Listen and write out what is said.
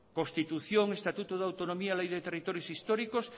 constitución estatuto de autonomía ley de territorios históricos